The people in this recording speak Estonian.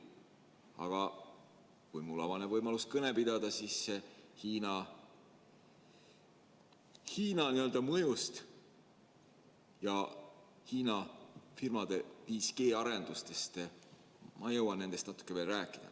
Aga kui mul avaneb võimalus kõnet pidada, siis ma jõuan Hiina mõjust ja Hiina firmade 5G-arendustest veel natuke rääkida.